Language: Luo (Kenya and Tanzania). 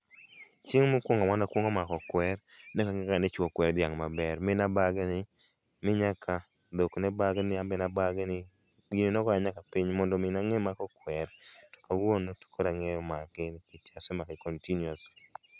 Chieng' mokuongo mane akuongo mako kweru ne oka ngeyo ni ichuo kwer dhiang' maber mane abagni mi nyaka dhok ne bagni, anbe nabagni. Gini nogoya nyaka piny ,mondo mi nang'e mako kwer to kawuono to koro angeyo make nikech asemake continuously